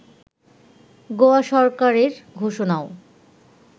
গোয়া সরকারের ঘোষণাও